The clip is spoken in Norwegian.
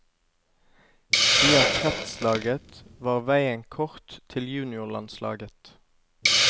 Via kretslaget var veien kort til juniorlandslaget.